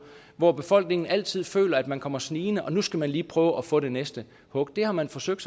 hvor befolkningen altid føler at man kommer snigende og nu skal man lige prøve at få det næste hug det har man forsøgt